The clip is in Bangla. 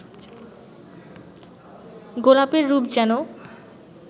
গোলাপের রূপ যেন